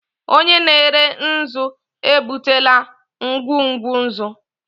Onye na-ere nzu ebutela ngwugwu nzu.